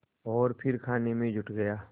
और फिर खाने में जुट गया